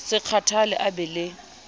se kgathale a be le